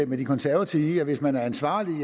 med de konservative i at hvis man er ansvarlig